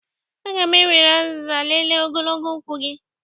Aga m ewere azịza lelee ogologo ụkwụ gị